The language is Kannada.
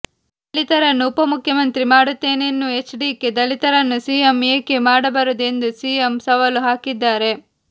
ದಲಿತರನ್ನು ಉಪ ಮುಖ್ಯಮಂತ್ರಿ ಮಾಡುತ್ತೇನೆನ್ನುವ ಎಚ್ ಡಿಕೆ ದಲಿತರನ್ನು ಸಿಎಂ ಏಕೆ ಮಾಡಬಾರದು ಎಂದು ಸಿಎಂ ಸವಾಲು ಹಾಕಿದ್ದಾರೆ